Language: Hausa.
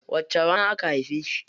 Wace rana aka haife shi?